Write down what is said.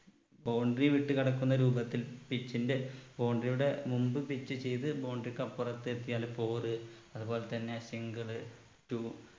boundary വിട്ടു കടക്കുന്ന രൂപത്തിൽ pitch ന്റെ boundary യുടെ മുമ്പ് pitch ചെയ്ത് boundary ക്ക് അപ്പുറത്ത് എത്തിയാല് four അത് പോലെത്തന്നെ single two